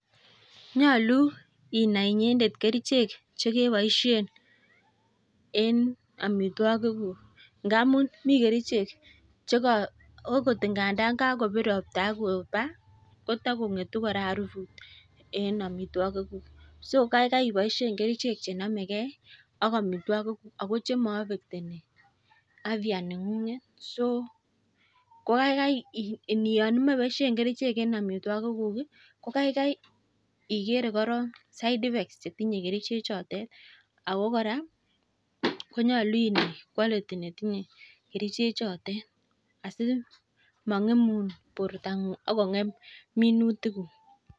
Nyolu inai inyendet kerichek che keboishen eng amitwagikuk. Ngamun mi kerichek che ogot ngo kakopir ropta akopa kotakong'etu kora arufut eng amitwagikuk. So kaikai iboishe kerichek chenamegei ak amitwagikuk ako maafectoni afya neng'ung'et so ko kaikai yon imache iboishe kerichek eng amitwagikuk ko kaikai igere korok side effects che tinyei kerichek chotet ako kora konyalu inai quality netinyei kerichechotet. Asi mang'emun bortang'ung akongh'em minutikuk.